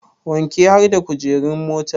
Wanke har da kujeru motar